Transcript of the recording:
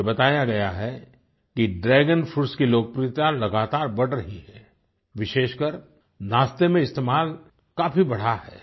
मुझे बताया गया है कि ड्रैगन फ्रूट्स की लोकप्रियता लगातार बढ़ रही है विशेषकर नाश्ते में इस्तेमाल काफी बढ़ा है